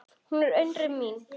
Hún er unnusta mín!